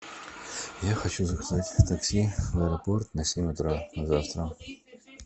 я хочу заказать такси в аэропорт на семь утра на завтра